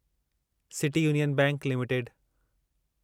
city union bank limited